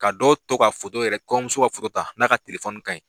Ka dɔw to ka foto yɛrɛ, kɔɲɔmuso ka foto ta na ka telefɔni kaɲin.